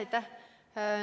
Aitäh!